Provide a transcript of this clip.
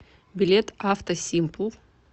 билет авто симпл